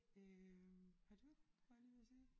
Øh har du var jeg lige ved at sige